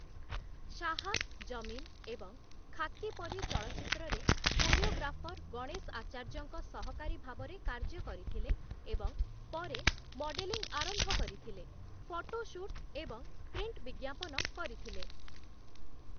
ଶାହା ଜମିନ ଏବଂ ଖାକି ପରି ଚଳଚ୍ଚିତ୍ରରେ କୋରିଓଗ୍ରାଫର ଗଣେଶ ଆଚାର୍ଯ୍ୟଙ୍କ ସହକାରୀ ଭାବରେ କାର୍ଯ୍ୟ କରିଥିଲେ ଏବଂ ପରେ ମଡେଲିଂ ଆରମ୍ଭ କରିଥିଲେ, ଫଟୋ ସୁଟ୍ ଏବଂ ପ୍ରିଣ୍ଟ ବିଜ୍ଞାପନ କରିଥିଲେ ।.